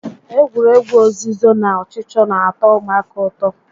Egwuregwu ozizo na ọchịchọ n'atọ ụmụaka ụtọ